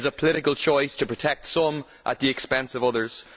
It is a political choice to protect some at the expense of others.